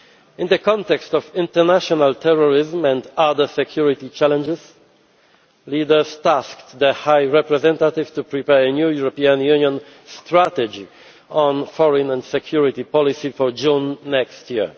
In the context of international terrorism and other security challenges, leaders tasked the High Representative with preparing a new European Union strategy on foreign and security policy for June next year.